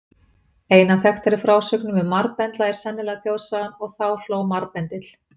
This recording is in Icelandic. Ein af þekktari frásögnum um marbendla er sennilega þjóðsagan: Og þá hló marbendill.